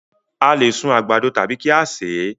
A le sun àgbàdo tàbí kí a sè é.